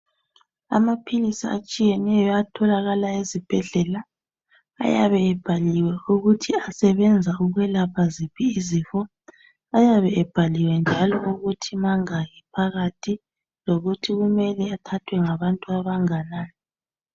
Amaphilisi atshiyeneyo atholakala ezibhedlela ayabe ebhaliwe ukuthi asebenza ukwelapha ziphi izifo. Ayabe ebhaliwe njalo ukuthi mangaki phakathi lokuthi kumele athathwe ngabantu abanganani.